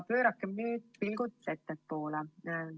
Pöörakem nüüd pilgud ettepoole.